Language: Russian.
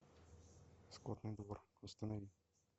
скотный двор установи